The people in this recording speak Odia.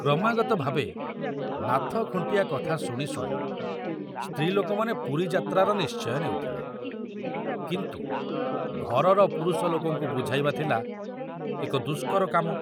କ୍ରମାଗତ ଭାବେ ନାଥ ଖୁଣ୍ଟିଆ କଥା ଶୁଣି ଶୁଣି ସ୍ତ୍ରୀ ଲୋକମାନେ ପୁରୀ ଯାତ୍ରାର ନିଶ୍ଚୟ ନେଉଥିଲେ, କିନ୍ତୁ ଘରର ପୁରୁଷ ଲୋକଙ୍କୁ ବୁଝାଇବା ଥିଲା ଏକ ଦୁଷ୍କର କାମ।